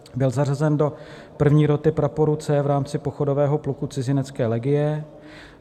Byl zařazen do 1. roty praporu C v rámci pochodového pluku cizinecké legie.